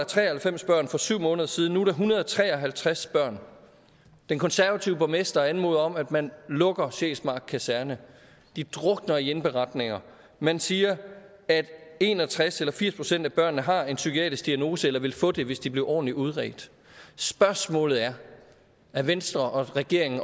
tre og halvfems børn for syv måneder siden nu en hundrede og tre og halvtreds børn den konservative borgmester anmoder om at man lukker sjælsmark kaserne de drukner i indberetninger man siger at en og tres eller firs procent af børnene har en psykiatrisk diagnose eller ville få det hvis de blev ordentligt udredt spørgsmålet er er venstre og regeringen